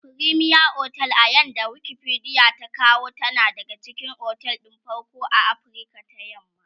fremier otel a yanda Wikipedia ta kawo tana daga cikin otel ɗin farko a Afrika ta yamma